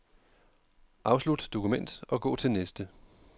Afslut dokument og gå til næste.